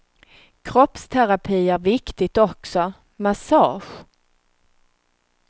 Kroppsterapi är viktigt också, massage.